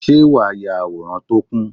Ṣé wàá ya àwòrán tó kún?